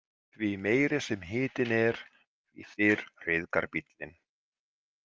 Því meiri sem hitinn er, því fyrr ryðgar bíllinn.